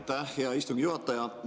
Aitäh, hea istungi juhataja!